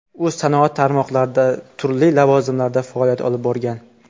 U sanoat tarmoqlarida turli lavozimlarda faoliyat olib borgan.